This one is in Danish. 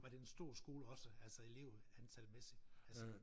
Var det en stor skole også altså elevantalmæssigt?